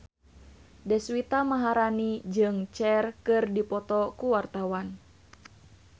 Deswita Maharani jeung Cher keur dipoto ku wartawan